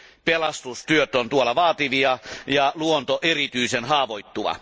Pelastustyöt ovat siellä vaativia ja luonto erityisen haavoittuva.